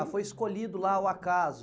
Ah, foi escolhido lá ao acaso.